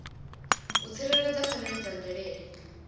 u tsireledza pfanelo dza mvelele